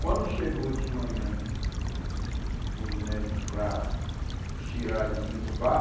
Quando chegou de manhã os médicos para tirar, desentubar,